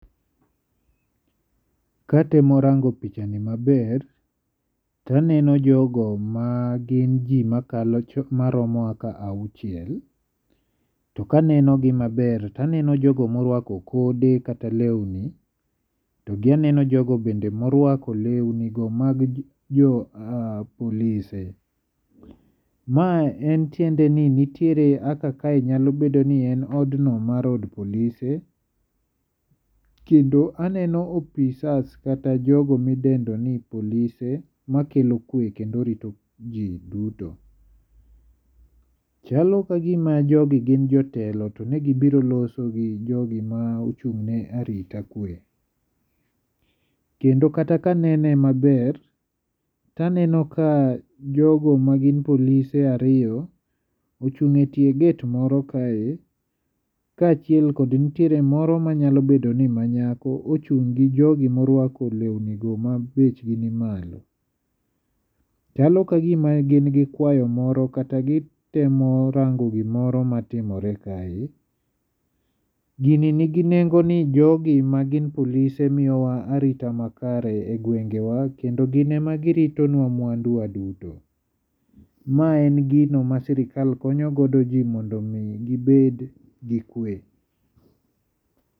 katemo rango pichani ni maber taneno jogo magin jii maromo auchiel to kaneno gi maber taneno jogo morwako kode kata lewni togi aneno jogo be morwako lewni go mag jo polise maen tiende ni nitie kaka kae nyalo bedo ni en od no mar od polise kendo aneno apisas kata jogo kidendo ni polise makelo kwe kendo rito ji duto. chalo ka gima jogi gi jotelo to negibiro loso gi jogi mochung ne arita kwe tokendo kata kanene maber taneno kajogo magin polise ariyo ochung e tie gate kae kaachiel kod ntiere moro manyabedo ni manyako ochung gi jogi morwako lewni go ma bechgi ni malo chalo ka gima gin gi kwayo moro kata gitemo rango gimoro matimore kae. gini nigi nengo ni jogi magin polise miyowa arita makare e gwengewa kendo ginema girito nwa mwanduwa duto. maen gino ma sirikal konyogodo jii mondo mii gibed gi kwe